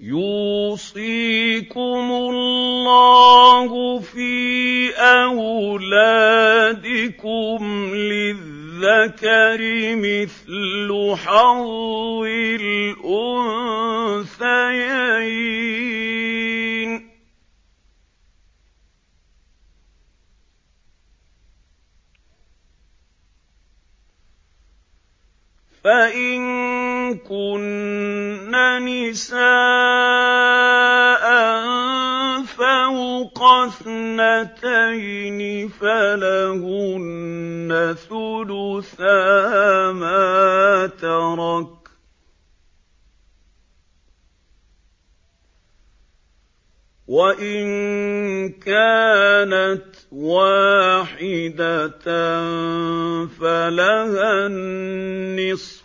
يُوصِيكُمُ اللَّهُ فِي أَوْلَادِكُمْ ۖ لِلذَّكَرِ مِثْلُ حَظِّ الْأُنثَيَيْنِ ۚ فَإِن كُنَّ نِسَاءً فَوْقَ اثْنَتَيْنِ فَلَهُنَّ ثُلُثَا مَا تَرَكَ ۖ وَإِن كَانَتْ وَاحِدَةً فَلَهَا النِّصْفُ ۚ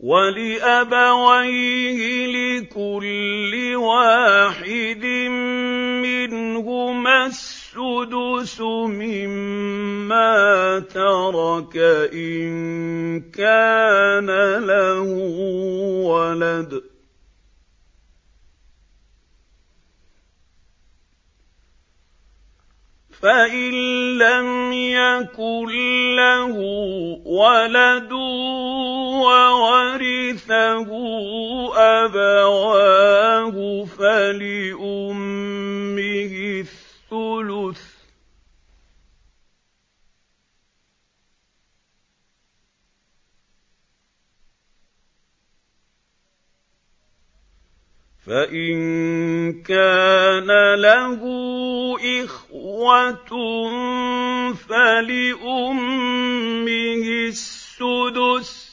وَلِأَبَوَيْهِ لِكُلِّ وَاحِدٍ مِّنْهُمَا السُّدُسُ مِمَّا تَرَكَ إِن كَانَ لَهُ وَلَدٌ ۚ فَإِن لَّمْ يَكُن لَّهُ وَلَدٌ وَوَرِثَهُ أَبَوَاهُ فَلِأُمِّهِ الثُّلُثُ ۚ فَإِن كَانَ لَهُ إِخْوَةٌ فَلِأُمِّهِ السُّدُسُ ۚ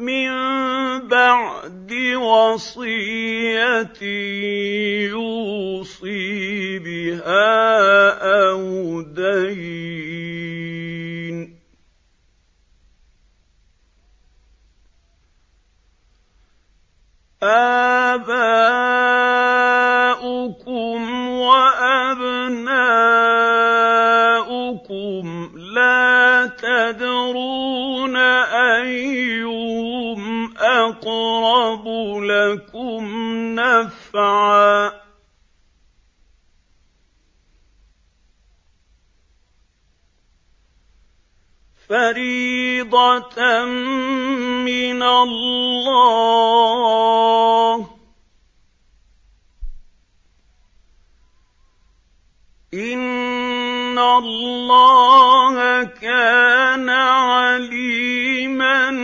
مِن بَعْدِ وَصِيَّةٍ يُوصِي بِهَا أَوْ دَيْنٍ ۗ آبَاؤُكُمْ وَأَبْنَاؤُكُمْ لَا تَدْرُونَ أَيُّهُمْ أَقْرَبُ لَكُمْ نَفْعًا ۚ فَرِيضَةً مِّنَ اللَّهِ ۗ إِنَّ اللَّهَ كَانَ عَلِيمًا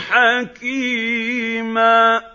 حَكِيمًا